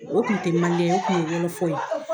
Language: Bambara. O kunteli man di ne ye, o kun ye ye.